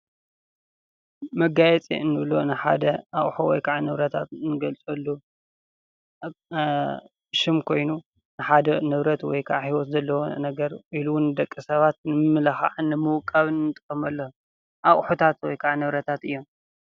መጋየፂ እንብሎ ንሓደ ኣቁሑ ወይ ከዓ ንብረት እንጋይፀሉ ሽም ኮይኑ ንሓደ ንብረት ወይ ከዓ ሂወት ነገር ኢሉ እዉን ንደቂ ሰባት ንምምልካዕን ንምውቃብን ኣንጥቀመሎም አቁሑታት ወይ ከዓ ንብረታት እዮም።